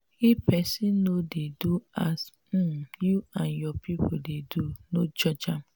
if pesin no dey do as um you and your pipo dey do no judge am.